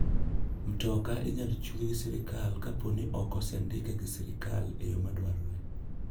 Mtoka inyal chungi gi sirkal kaponi ok osendike gi sirkal e yo madwarore.